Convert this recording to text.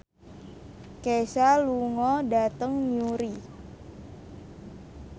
Kesha lunga dhateng Newry